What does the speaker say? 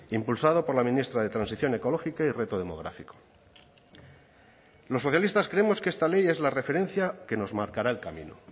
impulsado por la ministra de transición ecológica y reto demográfico los socialistas creemos que esta ley es la referencia que nos marcará el camino